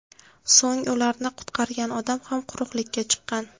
So‘ng ularni qutqargan odam ham quruqlikka chiqqan.